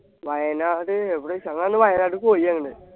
വയനാട് എവിടെ വെച്ച ഞങ്ങളന്നു വയനാട് പോയി ആണ്